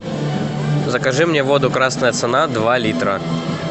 закажи мне воду красная цена два литра